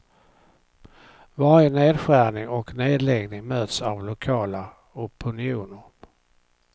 Varje nedskärning och nedläggning möts av lokala opinioner.